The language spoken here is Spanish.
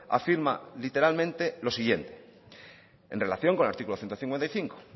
afirma literalmente lo siguiente en relación con el artículo ciento cincuenta y cinco